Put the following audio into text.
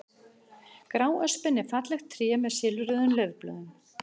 Gráöspin er fallegt tré með silfruðum laufblöðum.